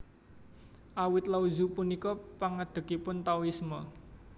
Awit Lao Tzu punika pangadegipun Taoisme